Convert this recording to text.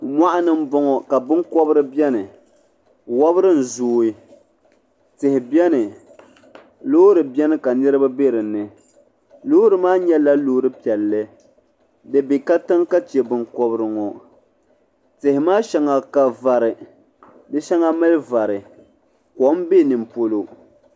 Moɣuni m boŋɔ ka binkobri biɛni wobri n zooi tihi biɛni loori biɛni ka niriba be dinni loori maa nyɛla loori piɛlli bɛ be katiŋ ka che binkobri ŋɔ tihi maa sheŋa ka vari di sheŋa mali vari kom be nimpolo.